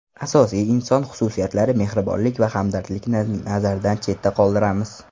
Asosiy inson xususiyatlari mehribonlik va hamdardlikni nazardan chetda qoldiramiz.